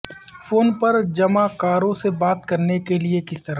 phone پر جمعاکاروں سے بات کرنے کے لئے کس طرح